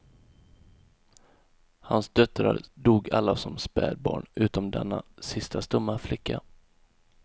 Hans döttrar dog alla som spädbarn utom denna sista stumma flicka.